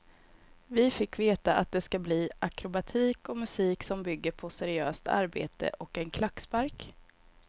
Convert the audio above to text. Vi fick veta att det ska bli akrobatik och musik som bygger på seriöst arbete och en klackspark.